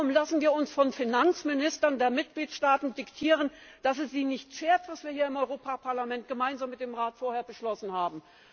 Warum lassen wir uns von Finanzministern der Mitgliedstaaten diktieren, dass es sie nicht schert, was wir hier im Europaparlament gemeinsam mit dem Rat vorher beschlossen haben.